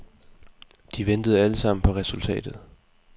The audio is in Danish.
De ventede alle sammen på resultatet.